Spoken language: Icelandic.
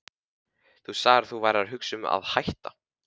Þú sagðir að þú værir að hugsa um að hætta.